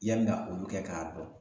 Yanni ga olu kɛ k'a dɔn